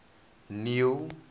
neil